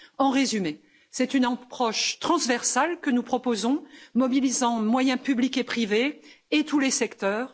En résumé, c'est une approche transversale que nous proposons, mobilisant moyens publics et privés, et tous les secteurs.